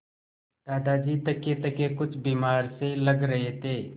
दादाजी थकेथके कुछ बीमार से लग रहे थे